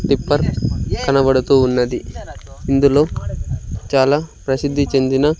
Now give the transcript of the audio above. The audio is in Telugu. టిప్పర్ కనబడుతూ ఉన్నది ఇందులో చాలా ప్రసిద్ధి చెందిన--